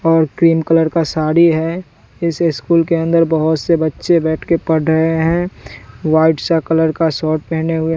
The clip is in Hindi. और क्रीम कलर का साड़ी है इस स्कूल के अंदर बहोत से बच्चे बैठ के पढ़ रहे हैं व्हाइट सा कलर का शर्ट पहने हुए--